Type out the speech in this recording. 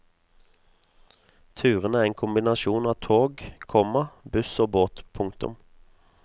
Turene er en kombinasjon av tog, komma buss og båt. punktum